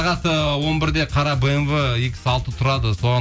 сағат ы он бірде қара бмв икс алты тұрады соған